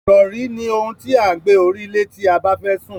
Ìrọ̀rí ni ohun tí à ń gbé orí lé tí a bẹ́fẹ́ sùn.